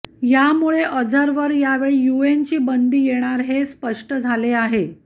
यामुळे अझरवर यावेळी यूएनची बंदी येणार हे स्पष्ट झाले आहे